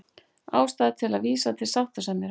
Ástæða til að vísa til sáttasemjara